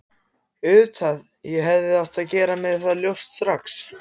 Auðvitað, ég hefði átt að gera mér það ljóst strax.